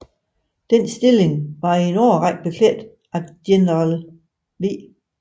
Den stilling var i en årrække beklædt af general v